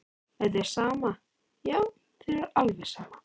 En þér er sama, já þér er alveg sama!